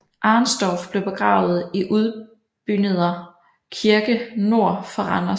Arenstorff blev begravet i Udbyneder Kirke nord for Randers